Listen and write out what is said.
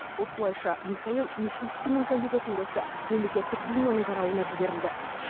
осылайша михаил мишустиннің кандидатурасы мемлекеттік думаның қарауына жіберілді